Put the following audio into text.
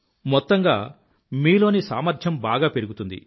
మొత్తంగా మీలోని సామర్థ్యం బాగా పెరుగుతుంది